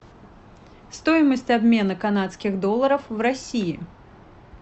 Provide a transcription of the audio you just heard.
стоимость обмена канадских долларов в россии